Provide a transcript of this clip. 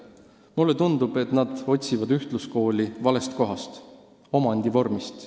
Mulle tundub, et nad otsivad ühtluskooli valest kohast – omandivormist.